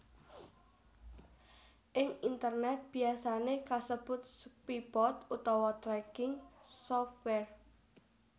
Ing internèt biyasané kasebut spybot utawa tracking software